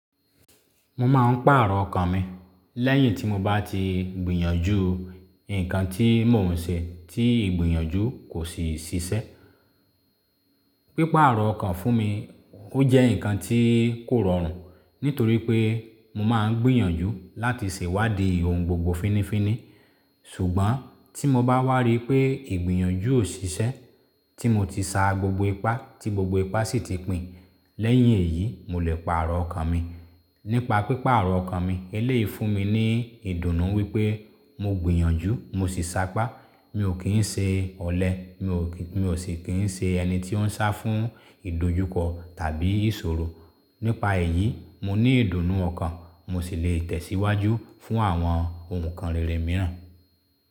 Mo máa ń pàrọ̀ ọkàn mi lẹ́yìn tí mo bá ti gbìyànjú nkan tí mò ń ṣe tí ìgbìyànjú kò sì ṣiṣẹ́. Pípáàrọ̀ ọkàn fún mi ó jẹ́ ǹkan tí kò rọrùn, nítorí pé mo máa ń gbìyànjú láti ṣèwádìí ohun gbogbo fínnífínní. Ṣùgbọ́n tí mo bá wá rí pé ìgbìyànjú ò ṣiṣẹ́, tí mo ti sa gbogbo ipá tí gbogbo ipá sì ti pìn, lẹ́yìn èyí mo lè paàrọ̀ ọkàn mi. Nípa pípáàrọ̀ ọkàn mi, eléyìí fún mi ní ìdùnnú wípé mo gbìyànjú mo sì sa ipá. Mi ò kì n ṣe ọ̀lẹ mi ò sì kì ń ṣe ẹni tí ó ń sá fún ìdojúkọ tàbí ìṣòro. Nípa èyí, mo ní ìdùnnú ọkàn, mo sì lè tẹ̀síwájú fún àwọn ohun kan rere mìíràn.